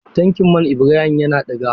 Tankin man Ibrahim yana ɗiga.